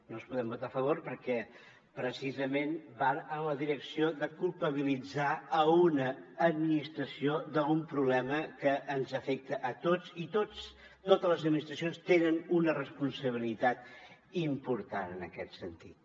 no els podem votar a favor perquè precisament van en la direcció de culpabilitzar una administració d’un problema que ens afecta a tots i totes les administracions tenen una responsabilitat important en aquest sentit